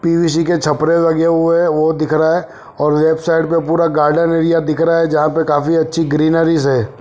पि _V C के छपरे लगे हुए है वो दिखरा है और लेफ्ट साइड में पूरा गार्डन एरिया दिखरा है जहा पर काफी अच्छी ग्रीनरीस है।